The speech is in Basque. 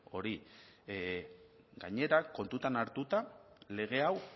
hori gainera kontutan hartuta lege hau